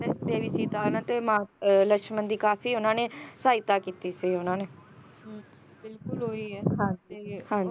ਕਹਿੰਦੇ ਦੇਵੀ ਸੀਤਾ ਹਨਾਂ ਅਤੇ ਮਾਤ ਅਹ ਲਕਸ਼ਮਣ ਦੀ ਕਾਫੀ ਉਹਨਾਂ ਨੇ ਸਹਾਇਤਾ ਕੀਤੀ ਸੀ ਉਹਨਾਂ ਨੇ ਹੁੰ ਬਿਲਕੁਲ ਉਹੀ ਏ ਹਾਂਜੀ ਤੇ